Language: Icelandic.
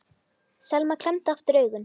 Selma klemmdi aftur augun.